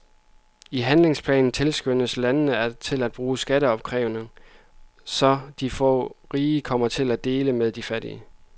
I handlingsplanen tilskyndes landene til at bruge skatteopkrævning, så de få rige kommer til at dele med de mange fattige.